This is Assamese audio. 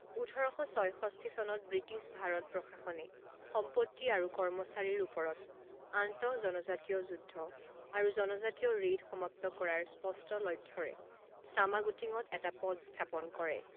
ওঠৰ শ ছয়ষষ্ঠি চনত ব্ৰিটিছ ভাৰত প্ৰশাসনে সম্পত্তি আৰু কৰ্মচাৰীৰ ওপৰত আন্তঃজনজাতীয় যুদ্ধ আৰু জনজাতীয় ৰেইড সমাপ্ত কৰাৰ স্পষ্ট লক্ষ্যৰে চামাগুটিঙত এটা পদ স্থাপন কৰে।